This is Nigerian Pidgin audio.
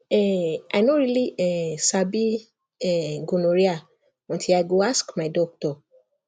um i no really um sabi um gonorrhea until i go ask my doctor